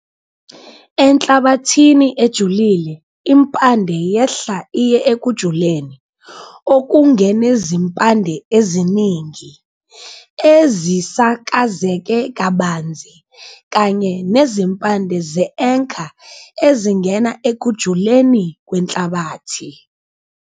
Enhlabathini ejulile, impande yehla iye ekujuleni okungu-enezimpande eziningi, ezisakazeke kabanzi kanye nezimpande ze-anchor ezingena ekujuleni kwenhlabathi.